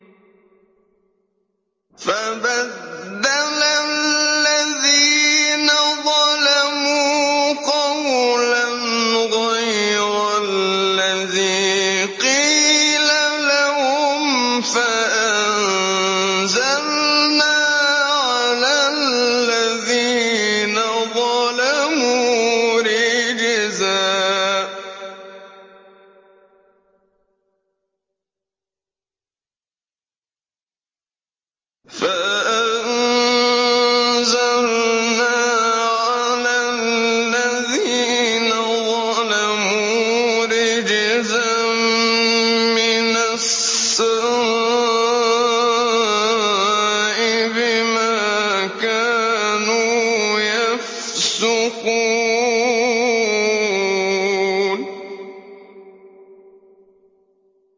فَبَدَّلَ الَّذِينَ ظَلَمُوا قَوْلًا غَيْرَ الَّذِي قِيلَ لَهُمْ فَأَنزَلْنَا عَلَى الَّذِينَ ظَلَمُوا رِجْزًا مِّنَ السَّمَاءِ بِمَا كَانُوا يَفْسُقُونَ